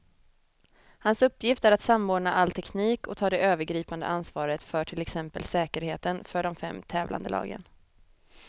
Hans uppgift är att samordna all teknik och ta det övergripande ansvaret för till exempel säkerheten för de fem tävlande lagen.